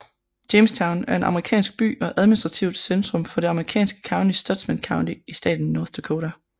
Jamestown er en amerikansk by og administrativt centrum for det amerikanske county Stutsman County i staten North Dakota